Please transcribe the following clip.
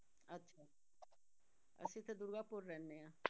ਅਸੀਂ ਤਾਂ ਦੁਰਗਾਪੁਰ ਰਹਿੰਦੇ ਹਾਂ।